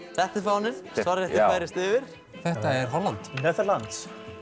þetta er fáninn svarrétturinn færist yfir þetta er Holland þetta